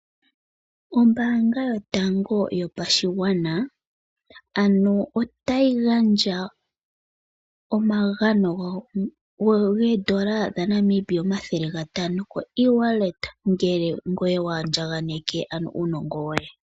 Ombanga yotango yopashigwana ano otayi gandja omagano goodola dhaNamibia kupitila koshimaliwa shokongodhi ngele ngoye wa andjaganeke uunongo woye.